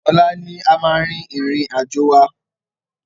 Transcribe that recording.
Ọ̀la ni a máa rin ìrìn àjò wa.